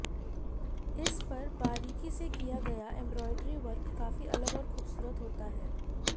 इस पर बारीकी से किया गया एम्ब्रॉइडरी वर्क काफी अलग और खूबसूरत होता है